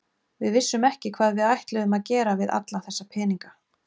Við vissum ekki hvað við ætluðum að gera við alla þessa peninga.